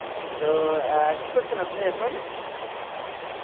তো কি করছেন আপনি এখন